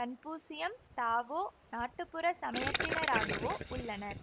கன்பூசியம் Tao நாட்டுப்புறச்சமயத்தினராகவோ உள்ளனர்